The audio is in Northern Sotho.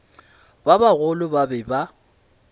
ba bagolo ba be ba